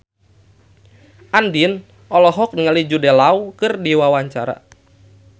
Andien olohok ningali Jude Law keur diwawancara